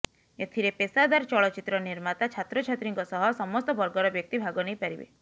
ଏଥିରେ ପେଶାଦାର ଚଳଚ୍ଚିତ୍ର ନିର୍ମାତା ଛାତ୍ରଛାତ୍ରୀଙ୍କ ସହ ସମସ୍ତ ବର୍ଗର ବ୍ୟକ୍ତି ଭାଗ ନେଇ ପାରିବେ